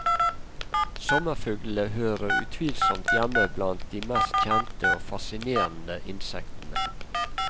Sommerfuglene hører utvilsomt hjemme blant de mest kjente og fascinerende insektene.